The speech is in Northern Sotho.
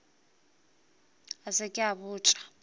a se ke a botša